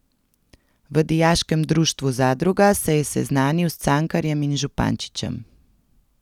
V dijaškem društvu Zadruga se je seznanil s Cankarjem in Župančičem.